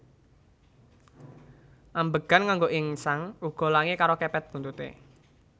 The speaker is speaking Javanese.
Ambegan nganggo ingsan uga langi karo kepet buntuté